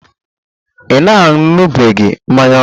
Ị na-aṅụbiga mmanya ókè?